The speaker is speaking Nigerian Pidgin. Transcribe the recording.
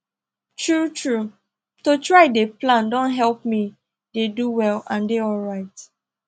true true to try dey plan don help me dey do well and dey alright